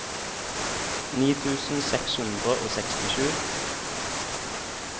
ni tusen seks hundre og sekstisju